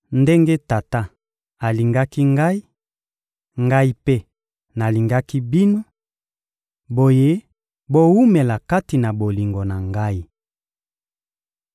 Ndenge Tata alingaki Ngai, Ngai mpe nalingaki bino; boye, bowumela kati na bolingo na Ngai.